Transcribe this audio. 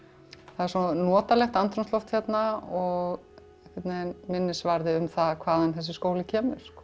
það er svo notalegt andrúmsloft hérna og einhvern veginn minnisvarði um hvaðan þessi skóli kemur